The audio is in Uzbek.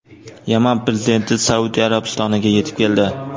Yaman prezidenti Saudiya Arabistoniga yetib keldi.